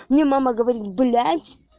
мне мама говорит блять